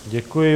Děkuji.